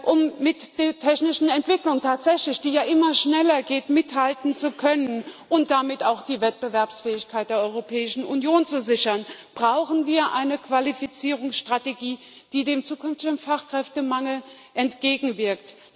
Um mit der technischen Entwicklung, die ja immer schneller geht, tatsächlich mithalten zu können und damit auch die Wettbewerbsfähigkeit der Europäischen Union zu sichern, brauchen wir eine Qualifizierungsstrategie, die dem zukünftigen Fachkräftemangel entgegenwirkt.